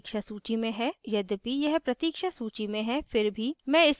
यद्यपि यह प्रतीक्ष सूची में है फिर भी मैं इसे बुक कराना चाहती हूँ